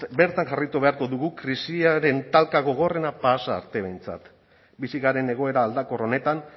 beran jarraitu beharko dugu krisiaren talka gogorrena pasa arte behintzat bizi garen egoera aldakor honetan